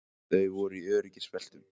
Þau voru í öryggisbeltum